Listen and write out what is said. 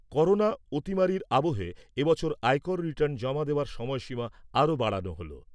Corona অতিমারির আবহে এবছরের আয়কর রিটার্ন জমা দেওয়ার সময়সীমা আরও বাড়ানো হলো।